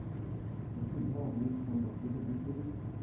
Ele falou, meu filho, realmente o San Juan de la Cruz é muito perigoso.